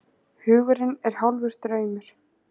Hugurinn er hálfur draumur.